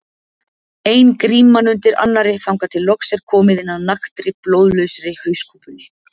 Ein gríman undir annarri þangað til loks er komið inn að naktri, blóðlausri hauskúpunni.